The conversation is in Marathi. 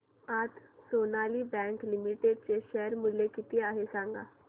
आज सोनाली बँक लिमिटेड चे शेअर मूल्य किती आहे सांगा